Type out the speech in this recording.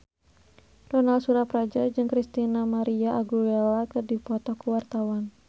Ronal Surapradja jeung Christina María Aguilera keur dipoto ku wartawan